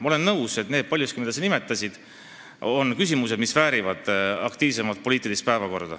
Ma olen nõus, et paljud küsimused, mida sa nimetasid, väärivad aktiivsemat poliitilist arutelu.